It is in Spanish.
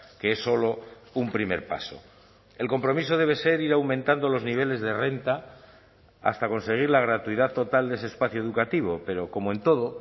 que es solo un primer paso el compromiso debe ser ir aumentando los niveles de renta hasta conseguir la gratuidad total de ese espacio educativo pero como en todo